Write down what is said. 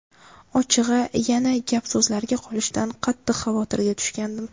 Ochig‘i, yana gap-so‘zlarga qolishdan qattiq xavotirga tushgandim.